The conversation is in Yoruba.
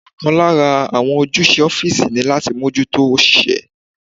Ọ̀kan lára àwọn ojúṣe ọ́físì ní láti mójútó òṣìṣẹ́